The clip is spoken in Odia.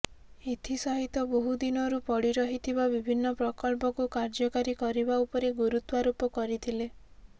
ଏଥିସହିତ ବହୁ ଦିନରୁ ପଡ଼ି ରହିଥିବା ବିଭିନ୍ନ ପ୍ରକଳ୍ପକୁ କାର୍ଯ୍ୟକାରୀ କରିବା ଉପରେ ଗୁରୁତ୍ୱାରୋପ କରିଥିଲେ